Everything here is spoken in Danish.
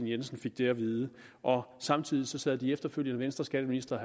jensen fik det at vide og samtidig sad de efterfølgende venstreskatteministre